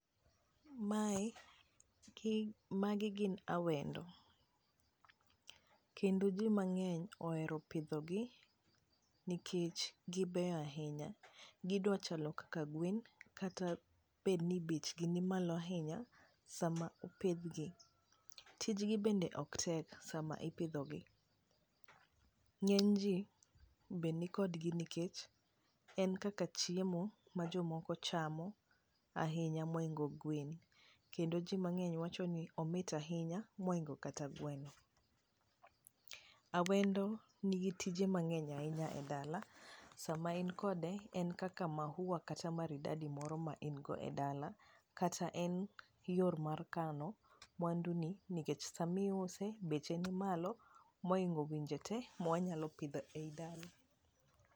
mae magi gin awendo kendo ji mang'eny ohero pidho gi nikech gibeyo ahinya gidwa chalo kaka gwen kata bed ni bech gi ni malo ahinya sama opidh gi, tijgi bende ok tek sama ipidho gi, ng'eny ji be ni kod gi nikech en kaka chiemo ma jomoko chamo ahinya mohingo gwen, kendo ji mang'eny wacho ni omit ahinya mohingo kata gweno ,awendo ni gi tije mang'eny ahinya e dala sama in kode en kaka maua kata maridadi moro ma in go e dala kata en yor mar kano mwandu ni nikech sami use beche ni malo mohingo winje tee mwanyalo pidho ei dala